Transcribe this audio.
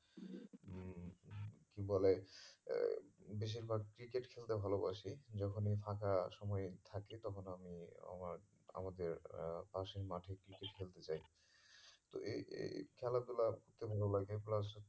কি বলে আহ বেশির ভাগ cricket খেলতে ভালোবাসি যখনি ফাঁকা সময় থাকে তখন আমি আমার আমাদের আহ পাশের মাঠে cricket খেলতে যাই তো এই এই খেলা ধুলাতে মন লাগে plus